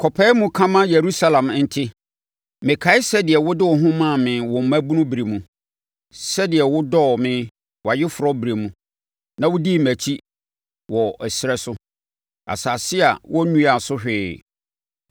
“Kɔpae mu ka ma Yerusalem nte: “Mekae sɛdeɛ wode wo ho maa me wo mmabunu berɛ mu, sɛdeɛ wo dɔɔ me wʼayeforɔ berɛ mu na wodii mʼakyi wɔ ɛserɛ so, asase a wɔnnuaa so hwee.